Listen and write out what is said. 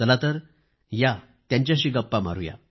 चला तर या त्यांच्याशी गप्पा मारुया